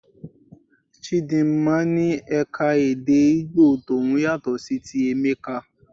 Chidinma ní eka-èdè Igbo tòun yàtọ̀ sí ti Emeka.